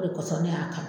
O de kosɔn ne y'a kanu